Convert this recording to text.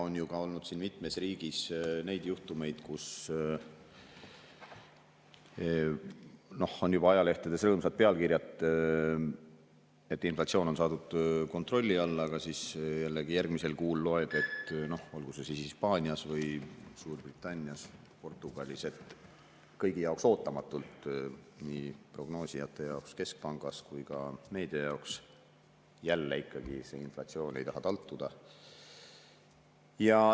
On olnud mitmes riigis ka juhtumeid, et on juba ajalehtedes rõõmsad pealkirjad, et inflatsioon on saadud kontrolli alla, aga siis jällegi järgmisel kuul loed – olgu see siis Hispaanias, Suurbritannias või Portugalis –, et kõigi jaoks ootamatult, nii prognoosijate jaoks keskpangas kui ka meedia jaoks, jälle inflatsioon ei taha taltuda.